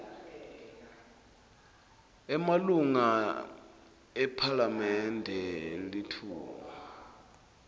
emalunga ephalamende litfuba